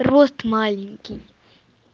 рост маленький